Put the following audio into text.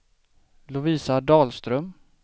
Lovisa Dahlström